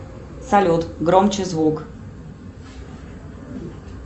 салют громче звук